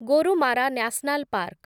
Gorumara national park